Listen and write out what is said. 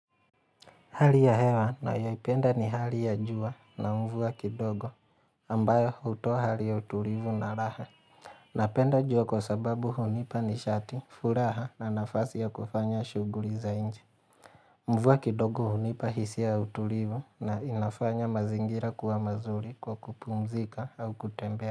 Hali ya hewa nayoipenda ni hali ya jua na mvua kidogo ambayo hutoa hali ya utulivu na raha. Napenda jua kwa sababu hunipa nishati, furaha na nafasi ya kufanya shughuli za nje. Mvua kidogo hunipa hisia ya utulivu na inafanya mazingira kuwa mazuri kwa kupumzika au kutembea.